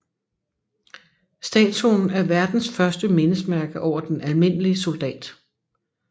Statuen er verdens første mindesmærke over den almindelige soldat